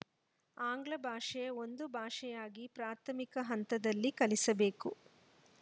ಆಂಗ್ಲ ಭಾಷೆ ಒಂದು ಭಾಷೆಯಾಗಿ ಪ್ರಾಥಮಿಕ ಹಂತದಲ್ಲಿ ಕಲಿಸಬೇಕು